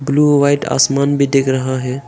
Blue व white आसमान भी दिख रहा है।